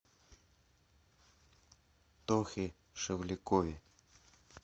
тохе шевлякове